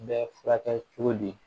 N bɛ furakɛ cogo di